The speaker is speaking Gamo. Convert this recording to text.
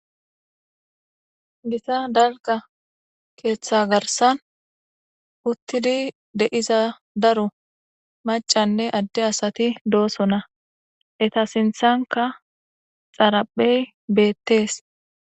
gita dalka keeththa garsan uttidi deiza daro macanne adde asati dooso na eta sinthanka xaraphey beettees